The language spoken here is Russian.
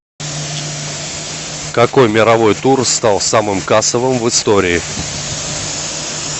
какой мировой тур стал самым кассовым в истории